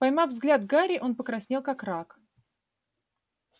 поймав взгляд гарри он покраснел как рак